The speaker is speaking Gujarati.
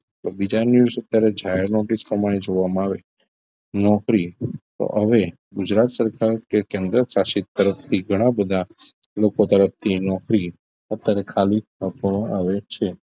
પણ બીજા news અત્યારે જાહેર નિધિ પ્રમાણે જોવામાં આવે નોકરી તો હવે ગુજરાત સરકાર કે કેન્દ્રશાસિત તરફથી ઘણા બધા લોકો તરફથી નોકરી અત્યારે ખાલી આપવામાં આવે છે